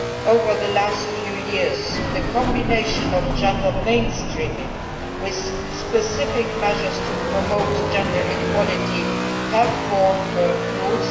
Over the last few years, the combination of gender mainstreaming with specific measures to promote gender equality have borne fruit.